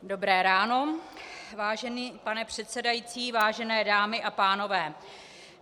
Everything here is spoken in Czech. Dobré ráno, vážený pane předsedající, vážené dámy a pánové.